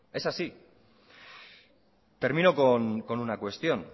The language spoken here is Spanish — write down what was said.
es así termino con una cuestión